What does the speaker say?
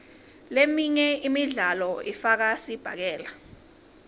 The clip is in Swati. leminye imidlalo ifaka sibhakela